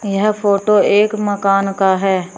यहं फोटो एक मकान का है।